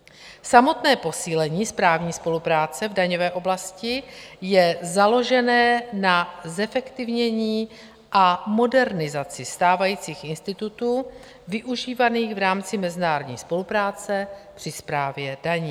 Samotné posílení správní spolupráce v daňové oblasti je založené na zefektivnění a modernizaci stávajících institutů využívaných v rámci mezinárodní spolupráce při správě daní.